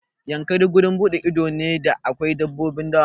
Yankari wurin buɗe ido ne da akwai dabbobin dawa.